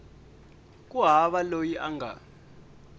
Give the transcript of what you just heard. ku hava loyi a nga